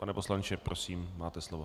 Pane poslanče, prosím máte slovo.